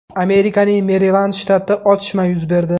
Amerikaning Merilend shtatida otishma yuz berdi.